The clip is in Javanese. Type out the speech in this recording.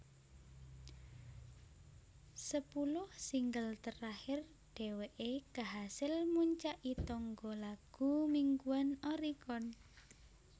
Sepuluh singel terakhir dèwèké kahasil muncaki tangga lagu mingguan Oricon